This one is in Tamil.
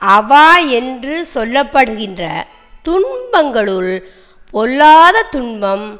அவா என்று சொல்ல படுகின்ற துன்பங்களுள் பொல்லாதத் துன்பம்